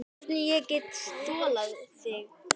Hvernig ég get þolað þig?